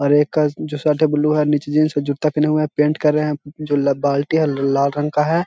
और एक का जो शर्ट है ब्लू है और नीचे जीन्स के जूत्ता पहने हुआ है। पेंट कर रहे हैं जो बाल्टी है ला लाल रंग का है।